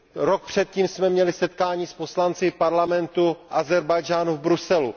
Rok předtím jsme měli setkání s poslanci parlamentu Ázerbájdžánu v Bruselu.